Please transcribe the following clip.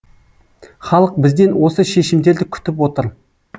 халық бізден осы шешімдерді күтіп отыр